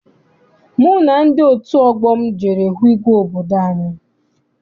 Mụ na ndị otu ọgbọ m jere hụ igwe obodo anyị.